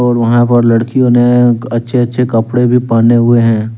और वहां पर लड़कियों ने अच्छे अच्छे कपड़े भी पहने हुए हैं।